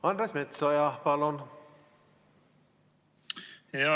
Andres Metsoja, palun!